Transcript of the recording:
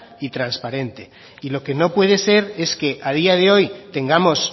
y transparente y lo que no puede ser es que a día de hoy tengamos